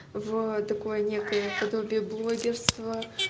в такое некое подобие блогерство